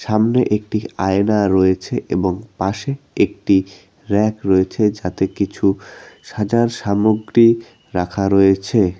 সামনে একটি আয়না রয়েছে এবং পাশে একটি ব়্যাক রয়েছে যাতে কিছু সাজার সামগ্রী রাখা রয়েছে।